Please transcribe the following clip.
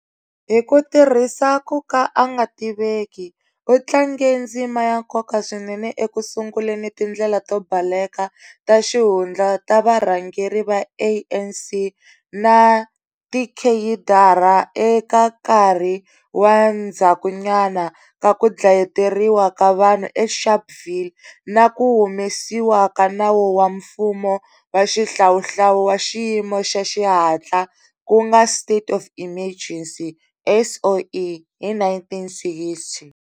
Hi ku tirhisa ku ka a nga tiveki, u tlange ndzima ya nkoka swinene ekusunguleni tindlela to baleka ta xihundla ta varhangeri va ANC na tikheyidara eka nkarhi wa ndzhakunyana ka ku dlayeteriwa ka vanhu eSharpeville na ku humesiwa ka nawu wa mfumo wa xihlawuhlawu wa xiyimo xa xihatla ku nga State of Emergency SOE, hi 1960.